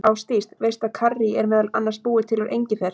Ásdís, veistu að karrí er meðal annars búið til úr engifer?